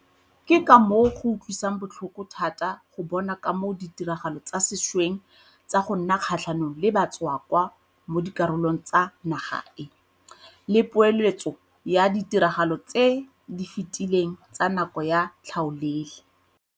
Ke ka moo go utlwisang botlhoko thata go bona ka moo ditiragalo tsa sešweng tsa go nna kgatlhanong le batswakwa mo dikarolong tsa naga e le poeletso ya ditiragalo tse di fetileng tsa nako ya tlhaolele.